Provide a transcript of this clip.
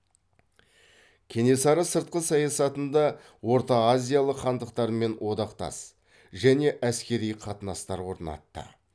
кенесары сыртқы саясатында ортаазиялық хандықтармен одақтас және әскери қатынастар орнатты